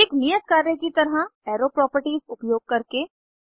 एक नियत कार्य की तरह एरो प्रोपर्टीज़ उपयोग करके 1